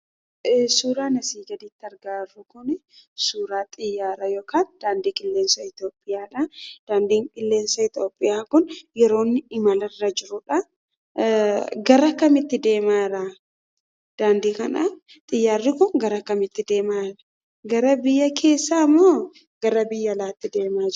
Suuraan asii gaditti argaa jirru kun, suuraa xiyyaara yookan daandii qilleensa Itoophiyaadhaa. Daandiin qilleensa Itoophiyaa kun yeroo inni qillensarra jirudha. Xiyyaarri kun gara kamitti deemaa jira? Gara biyya keessaa moo gara biyya alaatti deemaa jira?